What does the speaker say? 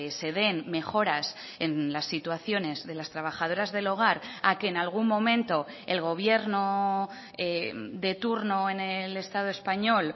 se den mejoras en las situaciones de las trabajadoras del hogar a que en algún momento el gobierno de turno en el estado español